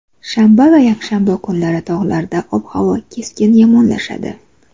Shanba va yakshanba kunlari tog‘larda ob-havo keskin yomonlashadi.